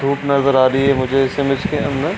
धुप नजर आ रही है मुझे ऐसे में इसके अंदर।